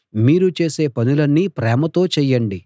మీరు చేసే పనులన్నీ ప్రేమతో చేయండి